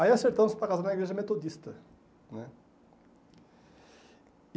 Aí acertamos para casar na igreja metodista né.